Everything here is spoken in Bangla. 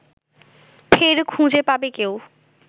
ফের খুঁজে পাবে কেউ